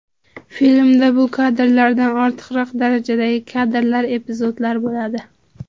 Filmda bu kadrlardanda ortiqroq darajadagi kadrlar, epizodlar bo‘ladi.